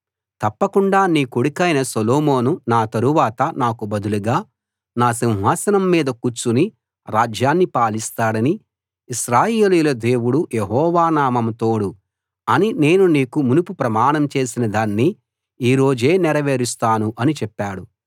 తప్పకుండా నీ కొడుకైన సొలొమోను నా తరవాత నాకు బదులుగా నా సింహాసనం మీద కూర్చుని రాజ్యాన్ని పాలిస్తాడని ఇశ్రాయేలీయుల దేవుడు యెహోవా నామం తోడు అని నేను నీకు మునుపు ప్రమాణం చేసిన దాన్ని ఈ రోజే నెరవేరుస్తాను అని చెప్పాడు